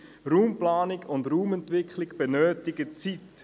Raumplanung und Raumentwicklung benötigen Zeit.